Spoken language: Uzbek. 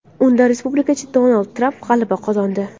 Unda respublikachi Donald Tramp g‘alaba qozondi .